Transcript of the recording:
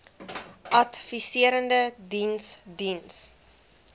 adviserende diens diens